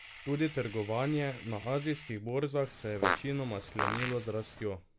Tudi trgovanje na azijskih borzah se je večinoma sklenilo z rastjo.